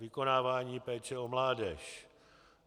Vykonávání péče o mládež.